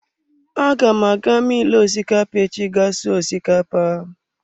Aga m aga milu osikapa echi ga sụọ osikapa.